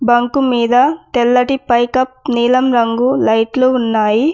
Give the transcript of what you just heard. Bunk మీద తెల్లటి పైకప్పు నీలం రంగు లైట్లు ఉన్నాయి.